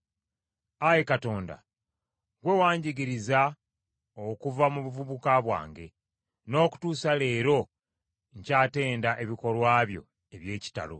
Ayi Katonda, ggwe wanjigiriza okuva mu buvubuka bwange; n’okutuusa leero nkyatenda ebikolwa byo eby’ekitalo.